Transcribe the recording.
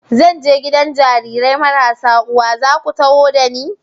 Zan je gidan Jarirai marasa uwa, za ku taho da ni?